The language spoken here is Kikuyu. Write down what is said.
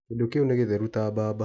Kĩndũ kĩu nĩ gĩtheru ta mbamba.